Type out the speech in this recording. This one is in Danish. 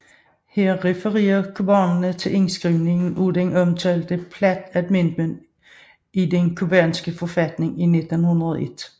Her refererer cubanerne til indskrivningen af den omtalte Platt Amendment i den cubanske forfatning i 1901